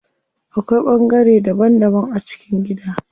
Akwai bangare daban daban a cikin gida.